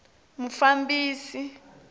mufambisi